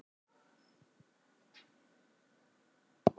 Alla vega í eitt enn.